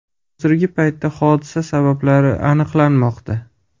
Hozirgi paytda hodisa sabablari aniqlanmoqda.